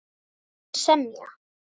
Og nú vill hann semja!